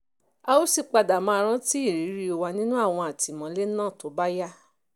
a ó sì padà máa rántí ìrírí wa nínú àwọn àtìmọ́lé náà tó bá yá